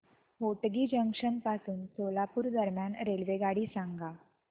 Hotgi junction पासून सोलापूर दरम्यान रेल्वेगाडी सांगा